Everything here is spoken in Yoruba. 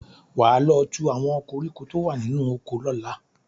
Wà á lọ tú àwọn koríko tó wà nínú oko lọ́la!